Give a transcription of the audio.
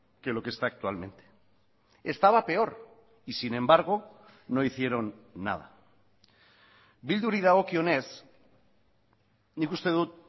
que lo que está actualmente estaba peor y sin embargo no hicieron nada bilduri dagokionez nik uste dut